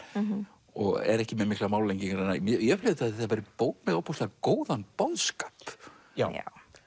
og er ekki með miklar málalengingar ég upplifði að þetta væri bók með ofboðslega góðan boðskap já